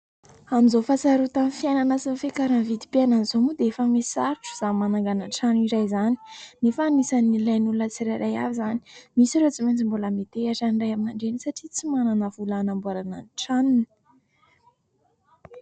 Amin'izao fahasarotan'ny fiainana sy ny fiakaran'ny vidim-piainan'izao moa dia efa mihasarotra izany mananganan-trano iray izany nefa anisany ilain'ny olona tsirairay avy izany ; misy ireo tsy maintsy mbola miantehitra amin'ny Ray aman-dreny satria tsy manana vola hanamboarana ny tranony.